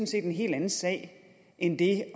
set en helt anden sag end det